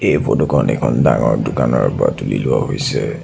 এই ফটোখন এখন ডাঙৰ দোকানৰ পৰা তুলি লোৱা হৈছে।